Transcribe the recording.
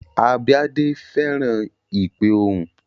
Abíadé fẹ́ràn ìpe ohùn